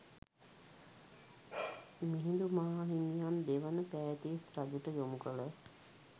මිහිඳු මාහිමියන් දෙවන පෑතිස් රජුට යොමු කළ